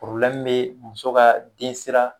bɛ muso ka densira